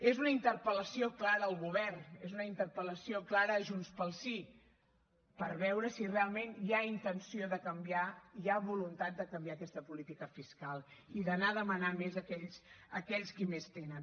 és una interpel·lació clara al govern és una interpel·lació clara a junts pel sí per veure si realment hi ha intenció de canviar hi ha voluntat de canviar aquesta política fiscal i d’anar a demanar més a aquells qui més tenen